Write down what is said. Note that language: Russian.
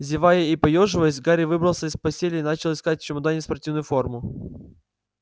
зевая и поёживаясь гарри выбрался из постели и начал искать в чемодане спортивную форму